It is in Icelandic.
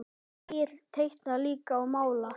Egill teiknar líka og málar.